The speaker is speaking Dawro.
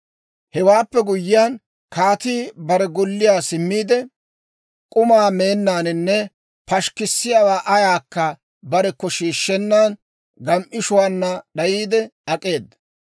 Hewaappe guyyiyaan, kaatii bare golliyaa simmiide, k'uma meennaaninne pashikkisiyaawaa ayaakka barekko shiishshennan, gem"ishuwaana d'ayiide ak'eeda.